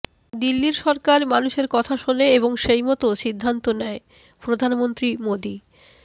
দিল্লির সরকার মানুষের কথা শোনে এবং সেইমতো সিদ্ধান্ত নেয়ঃ প্রধানমন্ত্রী মোদি